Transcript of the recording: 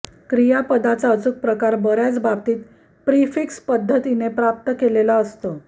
क्रियापदचा अचूक प्रकार बर्याच बाबतीत प्रिफिक्स पद्धतीने प्राप्त केलेला असतो